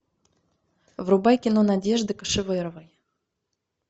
врубай кино надежды кошеверовой